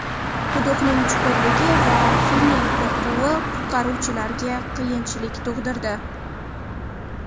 Quduqning chuqurligi va filning qo‘rquvi qutqaruvchilarga qiyinchilik tug‘dirdi.